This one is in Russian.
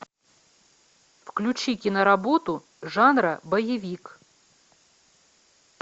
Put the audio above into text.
включи киноработу жанра боевик